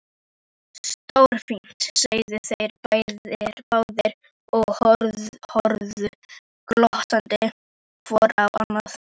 Stórfínt sögðu þeir báðir og horfðu glottandi hvor á annan.